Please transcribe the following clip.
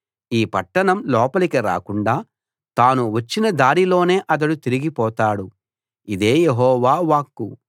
ఈ పట్టణం లోపలికి రాకుండా తాను వచ్చిన దారిలోనే అతడు తిరిగి పోతాడు ఇదే యెహోవా వాక్కు